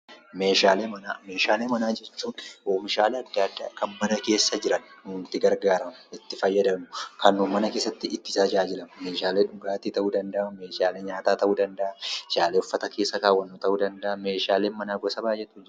Meeshaalee Manaa: Meeshaalee manaa jechuun oomishaalee adda addaa kan mana keessa jiran kan itti gargaaramnu, kan itti fayyadamnu, kan nuti mana keessatti itti tajaajilamnu meeshaalee dhugaatii ta'uu danda’a, meeshaalee nyaataa ta'uu danda’a, meeshaalee uffata keessa kaawwannu ta'uu danda’a. Meeshaaleen mana keessaa baay'eetu jiru.